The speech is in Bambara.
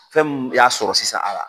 Fɛn min y'a sɔrɔ sisan a